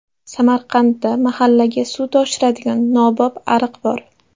Samarqandda mahallaga suv toshiradigan nobop ariq bor.